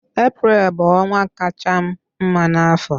Eprel bụ ọnwa kachaa m mma n'afọ